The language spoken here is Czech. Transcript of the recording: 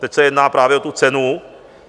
Teď se jedná právě o tu cenu.